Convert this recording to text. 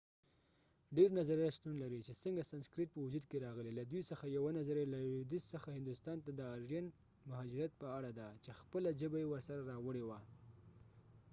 ډیر نظريات شتون لري چې څنګه سنسکرت په وجود کې راغلی له دوی څخه یوه نظريه له لویدیځ څخه هندوستان ته د آرین مهاجرت په اړه ده چې خپله ژبه یې ورسره راوړې وه